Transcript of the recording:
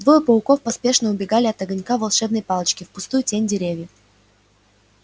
двое пауков поспешно убегали от огонька волшебной палочки в густую тень деревьев